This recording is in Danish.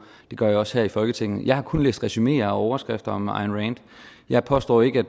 det gør jeg også her i folketinget jeg har kun læst resumeer og overskrifter om ayn rand jeg påstår ikke at